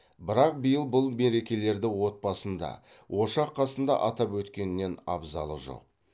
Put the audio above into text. бірақ биыл бұл мерекелерді отбасында ошақ қасында атап өткеннен абзалы жоқ